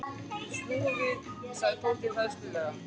Snúum við sagði Tóti hræðslulega.